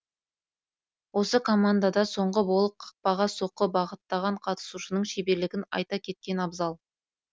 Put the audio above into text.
осы командада соңғы болып қақпаға соққы бағыттаған қатысушының шеберлігін айта кеткен абзал